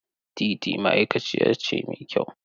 Teetea ma'aikaciya ce mai kyau.